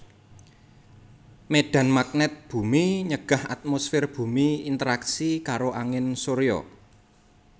Médhan magnèt bumi nyegah atmosfèr bumi interaksi karo angin surya